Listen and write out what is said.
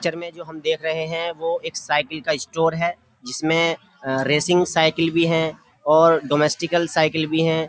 क्चर में जो हम देखकर है वो एक साइकिल का स्टोर है जिसमें रेसिंग साइकिल भी है और डोमेस्टिकल साइकिल भी है।